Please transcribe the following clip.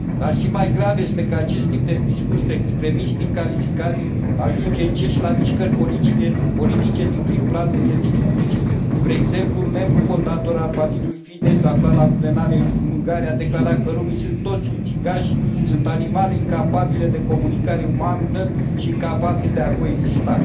Dar, și mai grav, este că acest tip de discurs extremist incalificabil ajunge încet și la mișcări politice din prim planul vieții publice. Spre exemplu, un membru fondator al Partidului Fidesz, aflat la guvernare în Ungaria, a declarat că romii sunt toți ucigași, sunt animale incapabile de comunicare umană și incapabili de a coexista.